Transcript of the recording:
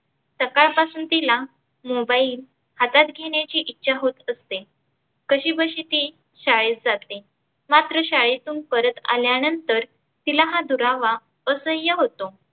सकाळपासून तीला mobile हातात घेण्याची इच्छा होत असते. कशी बशी ती शाळेत जाते मात्र शाळेतून परत आल्यानंतर तीला हा दुरावा असाह्य होतो.